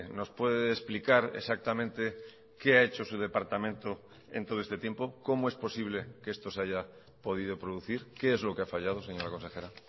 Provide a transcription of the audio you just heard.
nos puede explicar exactamente qué ha hecho su departamento en todo este tiempo cómo es posible que esto se haya podido producir qué es lo que ha fallado señora consejera